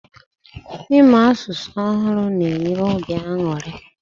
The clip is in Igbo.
Ịmụ asụsụ ọhụrụ na enye obi aṅụrị